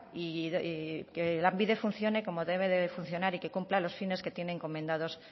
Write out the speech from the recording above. y que lanbide funcione como debe de funcionar y que cumpla los fines que tiene encomendado